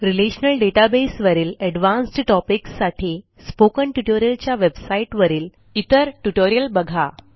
relational database वरील advanced topics साठी spoken tutorialच्या वेबसाईटवरील इतर ट्युटोरियल बघा